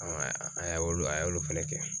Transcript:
a y'olu a y'olu fɛnɛ kɛ.